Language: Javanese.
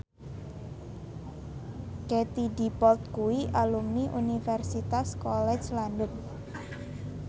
Katie Dippold kuwi alumni Universitas College London